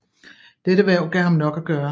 Dette hverv gav ham nok at gøre